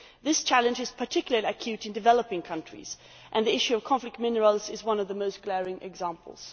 This challenge is particularly acute in developing countries, and the issue of conflict minerals is one of the most glaring examples.